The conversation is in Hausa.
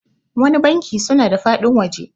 wani banki suna da faɗin waje